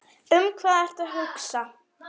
Um hvað ertu að hugsa?